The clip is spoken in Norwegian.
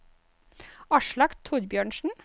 Aslak Thorbjørnsen